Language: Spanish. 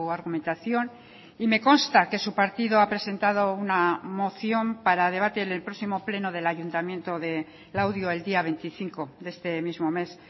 argumentación y me consta que su partido ha presentado una moción para debate en el próximo pleno del ayuntamiento de laudio el día veinticinco de este mismo mes